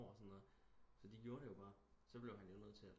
Eller sådan noget så de gjorde det jo bare så blev han jo nødt til